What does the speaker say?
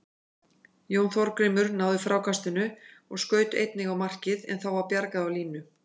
Jón Þorgrímur náði frákastinu og skaut einnig á markið en þá var bjargað á línu.